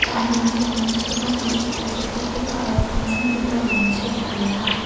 cha. anjranngko donchakgipa bostuko gipokgipa aro tangsimgipa rongchI tariaha.